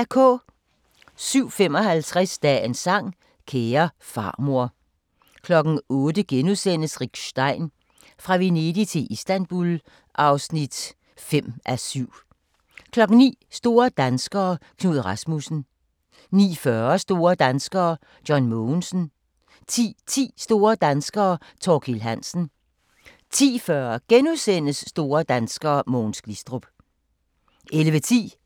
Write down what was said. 07:55: Dagens sang: Kære farmor 08:00: Rick Stein: Fra Venedig til Istanbul (5:7)* 09:00: Store danskere - Knud Rasmussen 09:40: Store danskere: John Mogensen 10:10: Store danskere: Thorkild Hansen 10:40: Store danskere: Mogens Glistrup * 11:10: